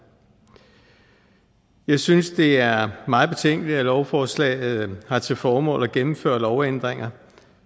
jeg synes det er meget betænkeligt at lovforslaget har til formål at gennemføre lovændringer